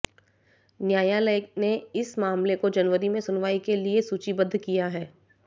न्यायालय ने इस मामले को जनवरी में सुनवाई के लिये सूचीबद्ध किया है